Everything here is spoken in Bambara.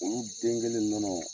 Olu den kelen nɔnɔ.